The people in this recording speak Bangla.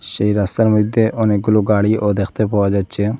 সেই রাস্তার মইদ্যে অনেকগুলো গাড়িও দেখতে পাওয়া যাচ্ছে।